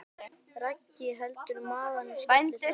Raggi heldur um magann og skelli hlær.